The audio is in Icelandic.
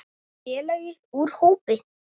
Félagi úr hópi